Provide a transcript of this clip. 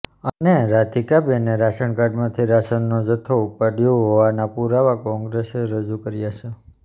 અને રાધિકાબેને રાશનકાર્ડથી રાશનનો જથ્થો ઉપાડ્યો હોવાના પુરાવા કોંગ્રેસે રજૂ કર્યા છે